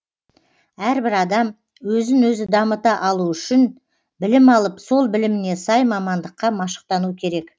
әрбір адам өзін өзі дамыта алу үшін білім алып сол біліміне сай мамандыққа машықтану керек